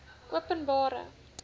openbare